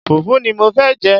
Fùfú ni mo fẹ́ jẹ́.